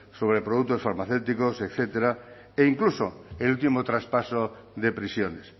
sobre productos farmacéuticos etcétera incluso el último traspaso de prisiones